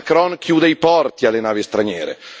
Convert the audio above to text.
e adesso Macron chiude i porti alle navi straniere.